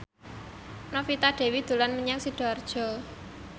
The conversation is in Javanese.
Novita Dewi dolan menyang Sidoarjo